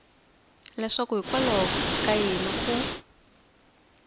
leswaku hikwalaho ka yini u